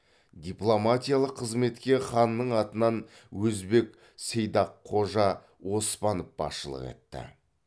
дипломатиялық қызметке ханның атынан өзбеқ сейдаққожа оспанов басшылық етті